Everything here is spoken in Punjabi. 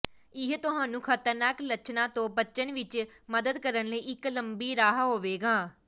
ਇਹ ਤੁਹਾਨੂੰ ਖਤਰਨਾਕ ਲੱਛਣਾਂ ਤੋਂ ਬਚਣ ਵਿੱਚ ਮਦਦ ਕਰਨ ਲਈ ਇੱਕ ਲੰਮੀ ਰਾਹ ਹੋਵੇਗਾ